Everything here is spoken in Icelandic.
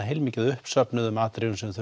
heilmikið af uppsöfnuðum atriðum sem við